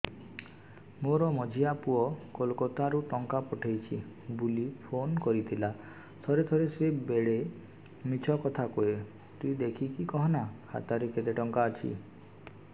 ମୋର ମଝିଆ ପୁଅ କୋଲକତା ରୁ ଟଙ୍କା ପଠେଇଚି ବୁଲି ଫୁନ କରିଥିଲା ଥରେ ଥରେ ସିଏ ବେଡେ ମିଛ କଥା କୁହେ ତୁଇ ଦେଖିକି କହନା ଖାତାରେ କେତ ଟଙ୍କା ଅଛି